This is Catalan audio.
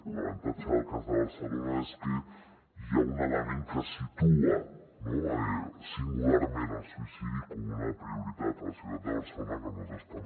l’avantatge del cas de barcelona és que hi ha un element que situa singularment el suïcidi com una prioritat a la ciutat de barcelona que nosaltres també